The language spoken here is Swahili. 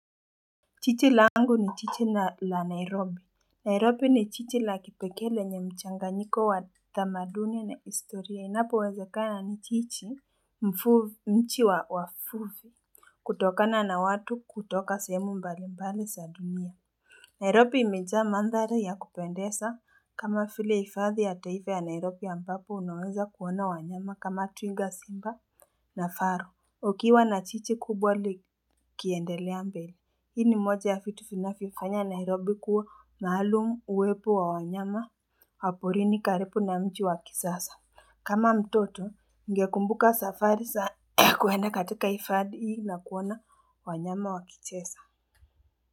Chichi la angu ni chichi la Nairobi. Nairobi ni jiji la kipekele nye mchanganyiko wa tamaduni na historia. Inapo wezekana ni jiji mji wa wavuvi. Kutokana na watu kutoka sehemu mbali mbali za dumia. Nairobi imejaa mandhali ya kupendesa kama vile ifadhi ya taife ya Nairobi ya mbapo unuweza kuona wanyama kama twinga simba na faru. Ukiwa na jiji kubwa likiendelea mbele. Hii ni moja ya vitu vinafifanya na nairobi kuwa maalumu uwepu wa wanyama, wa porini karipu na mji wakisasa. Kama mtoto, ngekumbuka safari za kuenda katika ifadi hii na kuona wanyama wakichesa.